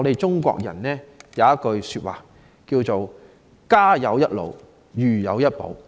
中國人有句說話：家有一老，如有一寶。